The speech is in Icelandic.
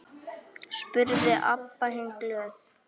spurði Abba hin glöð.